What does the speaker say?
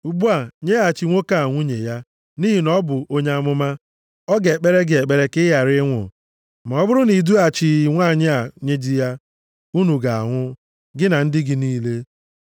Ugbu a, nyeghachi nwoke a nwunye ya. Nʼihi na ọ bụ onye amụma. Ọ ga-ekpere gị ekpere, ka ị ghara ịnwụ. Ma ọ bụrụ na i dughachịghị nwanyị a nye di ya, unu ga-anwụ, gị na ndị gị niile.”